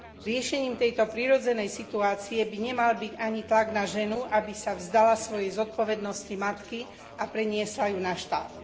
Riešením tejto prirodzenej situácie by nemal byť ani tlak na ženu, aby sa vzdala svojej zodpovednosti matky a preniesla ju na štát.